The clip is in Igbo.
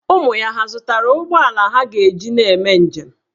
Ụmụ ya hà zụtara ụgbọala ha ga-eji na-eme njem?